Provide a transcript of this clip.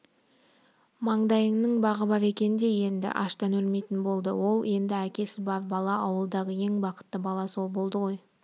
маңдайының бағы бар екен де енді аштан өлмейтін болды ол енді әкесі бар бала ауылдағы ең бақытты бала сол болды ғой